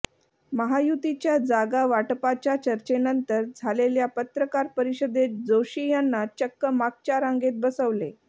महायुतीच्या जागा वाटपाच्या चर्चेनंतर झालेल्या पत्रकार परिषदेत जोशी यांना चक्क मागच्या रांगेत बसवले